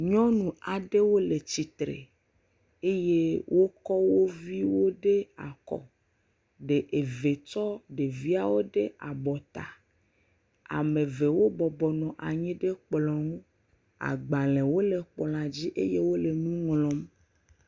Nyɔnu aɖewo le tsitre eye wokɔ wo viwo ɖe akɔ, eve tsɔ ɖe tsɔ ɖeviawo ɖe abɔta eme evewo bɔbɔnɔ anyi ɖe kplɔ aɖe ŋu, agbalẽwo le kplɔa dzi eye wole nu ŋlɔm.